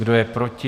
Kdo je proti?